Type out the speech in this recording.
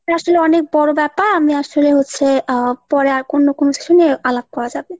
আসলে অনেক বড়ো ব্যাপার আমি আসলে হচ্ছে আহ পরে আর অন্য কোনো সময় আলাপ করা যাবে।